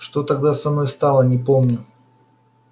что тогда со мною стало не помню